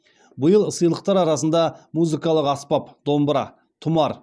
биыл сыйлықтар арасында музыкалық аспап домбыра тұмар